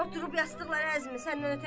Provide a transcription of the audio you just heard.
Oturub yazdıqları əzmə.